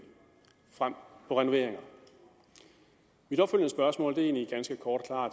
frem for renoveringer mit opfølgende spørgsmål er egentlig ganske kort og